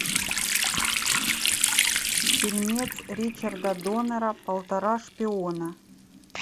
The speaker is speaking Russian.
фильм ричарда доннера полтора шпиона